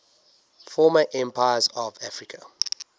former empires of africa